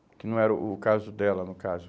Que não era o o caso dela, no caso.